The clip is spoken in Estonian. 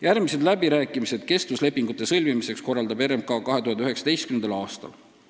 Järgmised läbirääkimised kestvuslepingute sõlmimiseks korraldab RMK 2019. aastal.